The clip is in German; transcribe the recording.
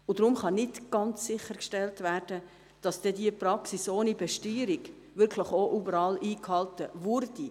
Deswegen kann nicht ganz sichergestellt werden, dass diese Praxis ohne Besteuerung auch wirklich überall eingehalten wird.